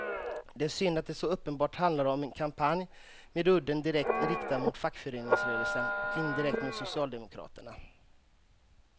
Det är synd att det så uppenbart handlar om en kampanj med udden direkt riktad mot fackföreningsrörelsen och indirekt mot socialdemokraterna.